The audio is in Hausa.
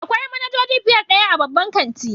Akwai manajoji fiye da ɗaya a babban kanti.